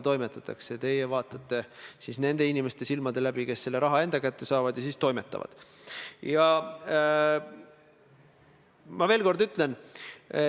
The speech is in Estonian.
Pikendatavate erandite hulgas on ka määruse artikkel 22, millega kohustatakse raudtee-ettevõtjaid võimaldama puudega inimestele raudteejaamades igakülgset abi.